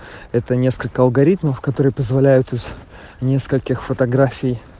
это несколько алгоритмов которые позволяют из нескольких фотографий